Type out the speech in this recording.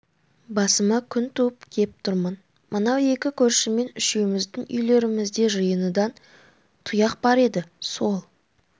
басыма күн туып кеп тұрмын мынау екі көршіммен үшеуіміздің үйлерімізде жиыны дан тұяқ бар еді сол